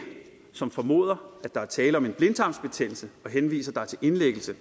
som formoder at der er tale om en blindtarmsbetændelse og henviser dig til indlæggelse